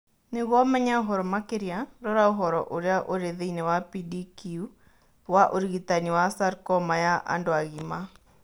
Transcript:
Nĩguo ũmenye ũhoro makĩria, rora ũhoro ũrĩa ũrĩ thĩinĩ wa PDQ wa ũrigitani wa sarcoma ya andũ agima.